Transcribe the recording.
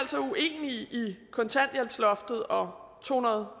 i i vi i kontanthjælpsloftet og to hundrede